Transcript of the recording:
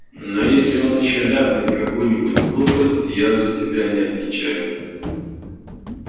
но если он ещё ляпнет какую-нибудь глупость я за себя не отвечаю